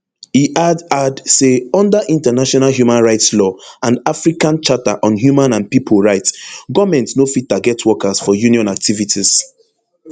e add add say under international human rights law and african charter on human and pipo right goment no fit target workers for union activities